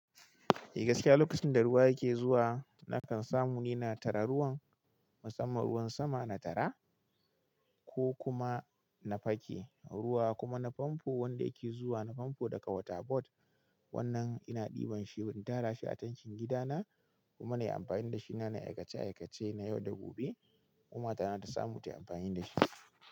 Eh gaskiya, lokacin da ruwa yake zuwa na kan samu ni na tara ruwan, musamman ruwan sama na tara ko kuma na fake ruwa kuma na famfo wanda yake zuwa na famfo daga waterbod wannan ina ɗiban shi, in tara shi a tankin gidana kuma nayi amfani da shi na nayi aikace aikace na yau da gobe. Kuma matana ta samu tayi amfani da shi.